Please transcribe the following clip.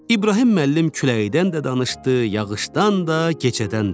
İbrahim müəllim küləkdən də danışdı, yağışdan da, gecədən də.